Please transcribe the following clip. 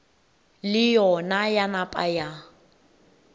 le yona ya napa ya